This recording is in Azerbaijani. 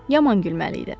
Yaman gülməli idi.